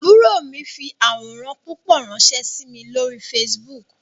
Àbúrò mi fi àwòrán púpọ̀ ránsẹ́ sí mi lórí Facebook